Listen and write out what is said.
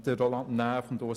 Grossrat Näf und Grossrat